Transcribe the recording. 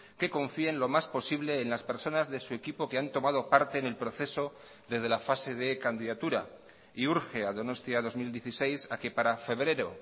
que confíe en lo más posible en las personas de su equipo que han tomado parte en el proceso desde la fase de candidatura y urge a donostia dos mil dieciséis a que para febrero